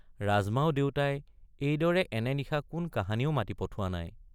ৰাজমাও দেউতাই এইদৰে এনে নিশা কোন কাহানিও মাতি পঠোৱা নাই।